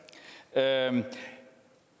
der er